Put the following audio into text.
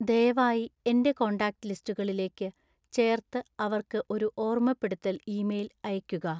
ദയവായി എന്‍റെ കോൺടാക്റ്റ് ലിസ്റ്റുകളിലേക്ക് ചേർത്ത് അവർക്ക് ഒരു ഓർമ്മപ്പെടുത്തൽ ഇമെയിൽ അയയ്ക്കുക